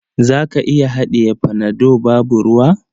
Za ka iya haɗiye panado babu ruwa?